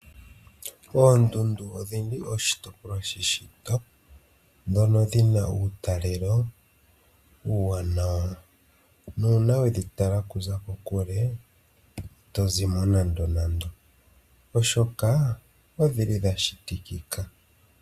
Oondundu odhi li oshitopolwa sheshito ndhono dhi na uutalelo uuwanawa. Nuuna we dhi tala okuza kokule ohadhi kala oohokithi, oshoka odhi li dha shitikika.